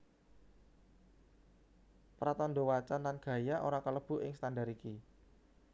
Pratandha wacan lan gaya ora kalebu ing standar iki